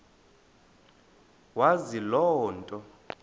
wazi loo nto